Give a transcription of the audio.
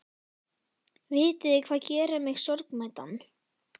Vitiði hvað gerir mig sorgmæddan?